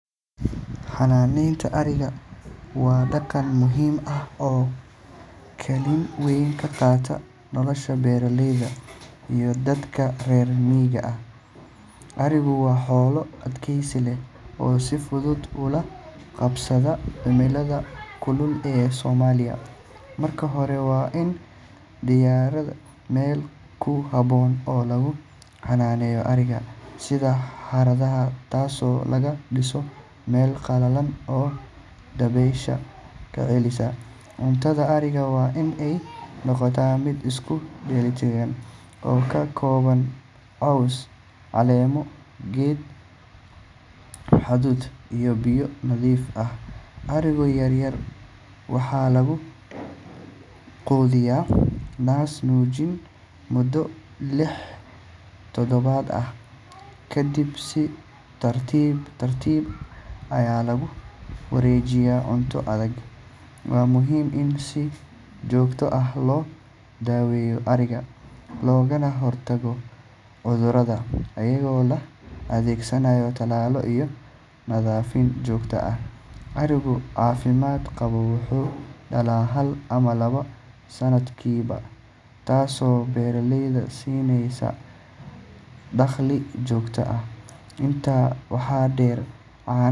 Xanaaneynta ariga waa dhaqan muhiim ah oo kaalin weyn ka qaata nolosha beeraleyda iyo dadka reer miyiga. Arigu waa xoolo adkaysi leh oo si fudud ula qabsada cimilada kulul ee Soomaaliya. Marka hore, waa in la diyaariyaa meel ku habboon oo lagu xannaaneeyo ariga, sida xerada, taasoo laga dhiso meel qalalan oo dabeysha ka celisa. Cuntada ariga waa in ay noqotaa mid isku dheelitiran oo ka kooban caws, caleemo geed, hadhuudh iyo biyo nadiif ah. Ariga yaryar waxaa lagu quudiyaa naas-nuujin muddo lix toddobaad ah, kadibna si tartiib tartiib ah ayaa loogu wareejiyaa cunto adag. Waa muhiim in si joogto ah loo daweeyo ariga loogana hortago cudurrada iyadoo la adeegsanayo tallaallo iyo nadiifin joogto ah. Ariga caafimaad qaba wuxuu dhalaa hal ama laba sannadkiiba, taasoo beeraleyda siinaysa dakhli joogto ah. Intaa waxaa dheer, caanaha.